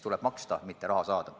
Tuleb maksta, mitte raha saada.